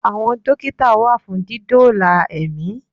Àwọn Dókítà wà fún dídóòlà ẹ̀mí